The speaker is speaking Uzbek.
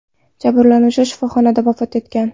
Jabrlanuvchi shifoxonada vafot etgan .